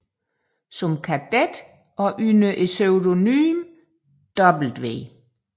Som kadet og under pseudonymet W